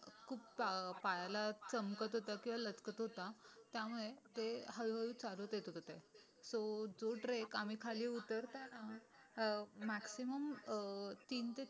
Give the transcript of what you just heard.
खूप पायाला चमकत होता किंवा लचकत होता त्यामुळे ते हळू हळू चालत येत होते सो जो ट्रेक आम्ही खली उतरताना अ मॅक्झिमम अ तीनते